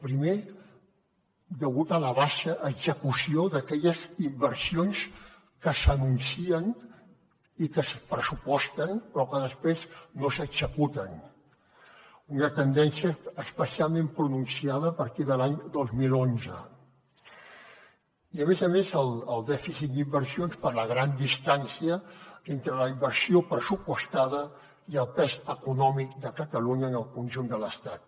primer degut a la baixa execució d’aquelles inversions que s’anuncien i que es pressuposten però que després no s’executen una tendència especialment pronunciada a partir de l’any dos mil onze i a més a més el dèficit d’inversions per la gran distància entre la inversió pressupostada i el pes econòmic de catalunya en el conjunt de l’estat